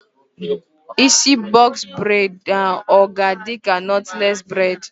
Isi bọks bred ọ ga-adịka nọtles bred?